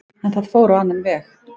En það fór á annan veg.